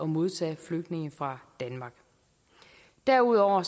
modtage flygtninge fra danmark derudover